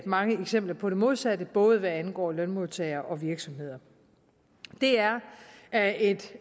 mange eksempler på det modsatte både hvad angår lønmodtagere og virksomheder det er er et